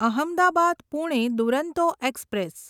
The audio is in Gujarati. અહમદાબાદ પુણે દુરંતો એક્સપ્રેસ